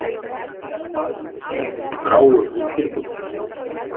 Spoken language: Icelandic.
Balli Sig í gráum undirbuxum!!!